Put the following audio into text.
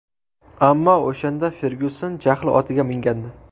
Ammo o‘shanda Fergyuson jahl otiga mingandi.